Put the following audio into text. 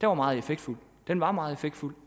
var meget effektfuld den var meget effektfuld